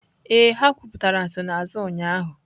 Ee, ha kwuputara nsonaazụ ụnyaahụ.